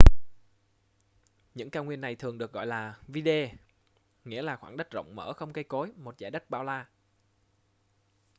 những cao nguyên này thường được gọi là vidde nghĩa là khoảng đất rộng mở không cây cối một dải đất bao la